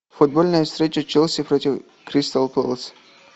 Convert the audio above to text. футбольная встреча челси против кристал пэлас